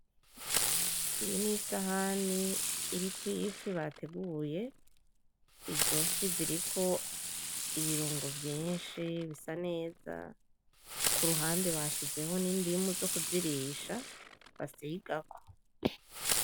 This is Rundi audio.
Iyi ni Isahani iriko Ifi bateguye, izo fi ziriko ibirungo vyinshi zisa neza, Kuruhande bashizeho n'indimu yo kuzirisha basigako.